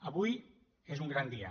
avui és un gran dia